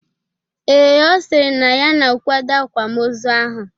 Ee, Ọ sịrị na ya na-akwado akwamozu ahụ